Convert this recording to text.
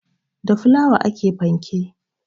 Da fulawa ake panke